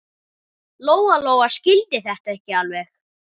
Lóa-Lóa skildi þetta ekki alveg.